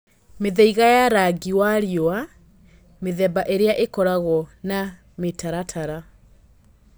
Mĩthaiga ya rangi wa riũa (mĩthemba ĩrĩa ĩkoragwo na mĩtaratara)